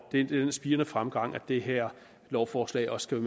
det er den spirende fremgang som det her lovforslag også skal